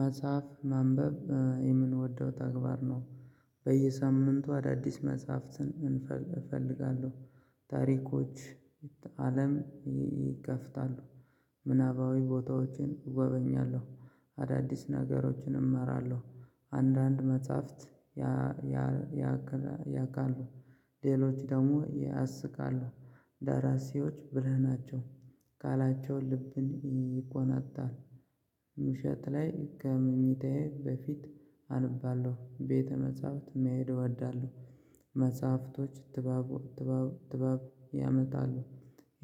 መጽሐፍ ማንበብ የምንወደው ተግባር ነው። በየሳምንቱ አዳዲስ መጽሐፍትን። እፈልጋለሁ ታሪኮች አለም ይከፍታሉ። ምናባዊ ቦታዎችን እጎበኛለሁ አዳዲስ ነገሮችን እማራለሁ። አንዳንድ መጽሐፍት። ያውቃሉ ሌሎች ደግሞ ያስቃሉ። ደራሲዎች ብለህ ናቸው። ቃላቸው ልብን ይኮነጥጣል። ምሸጥ ላይ ከመኝታዬ በፊት አንባለሁ ቤተ መጽሐፍት የሚሄደው አዳለሁ። መጽሐፍቶች ትባቡ ትጋብ ያመጣሉ።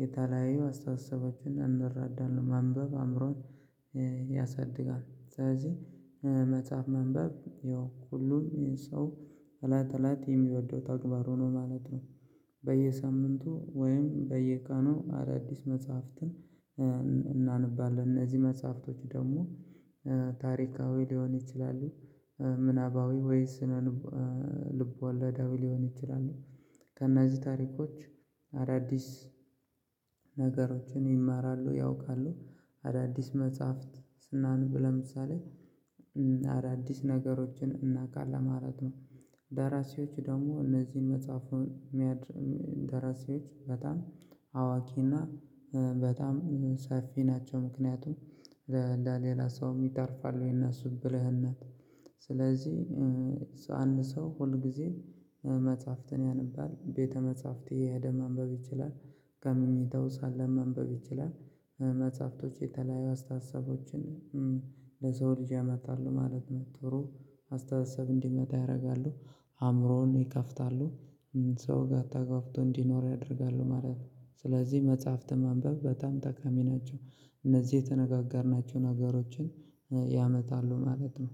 የተለያዩ አስተሳሰባችሁን እንረዳናለን ማንበብ አእምሮን ያሳድጋል። ስለዚህ መጽሐፍ ማንበብ ያው ሁሉም ሰው እለት እለት የሚወደው ተግባሩ ነው ማለት ነው። በየሳምንቱ ወይም በየቀኑ አዳዲስ መጽሐፍትን እናነባለን። እነዚህ መጽሐፍቶች ደግሞ ታሪካዊ ሊሆን ይችላሉ። ምናባዊ ወይስ ስነ ልብ ወለዳዊ ሊሆን ይችላሉ። ከእነዚህ ታሪኮች አዳዲስ ነገሮችን ይማራሉ። ያውቃሉ አዳዲስ መጽሐፍት ስናነብ ለምሳሌ አዳዲስ ነገሮችን እናውቃለን ማለት ነው። ደራሲዎች ደግሞ እነዚህን መጽሐፉን የሚያድር ደራሲዎች በጣም አዋቂና በጣም ሰፊ ናቸው። ምክንያቱም ለሌላ ሰውም ይተርፋሉ። እነሱ ብልህነት። ስለዚህ አንድ ሰው ሁል ጊዜ መጽሐፍትን ያነባል ቤተ መጽሐፍት እየሄደ ማንበብ ይችላል። ከመኝታው ሳለ ማንበብ ይችላል። መጽሐፍቶች የተለያዩ አስተሳሰቦችን ለሰው ልጅ ያመጣሉ ማለት ነው። ጥሩ አስተሳሰብ እንዲመጣ ያደርጋሉ አእምሮውን ይከፍታሉ። ሰው ጋር ተግባብቶ እንዲኖር ያደርጋሉ ማለት ነው። ስለዚህ መጽሐፍት ማንበብ በጣም ጠቃሚ ናቸው። እነዚህ የተነጋገርናቸውን ሀገሮችን ያመጣሉ ማለት ነው።